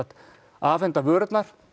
afhenda vörurnar